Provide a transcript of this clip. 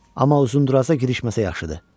Amma Uzundraza girişməsə yaxşıdır.